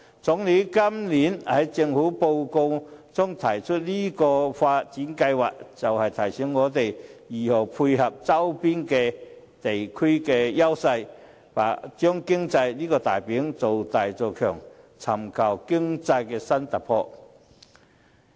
總理今年在政府工作報告中提出這項發展計劃，便是要提醒我們如何配合周邊地區的優勢，將經濟這塊"餅"造大做強，尋求經濟新突破。